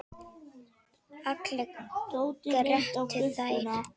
Allar grétu þær.